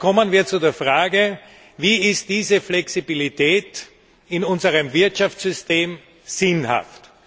Jetzt kommen wir zu der Frage Wie ist diese Flexibilität in unserem Wirtschaftssystem sinnhaft?